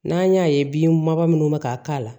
N'an y'a ye bin ba minnu bɛ ka k'a la